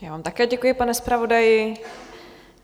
Já vám také děkuji, pane zpravodaji.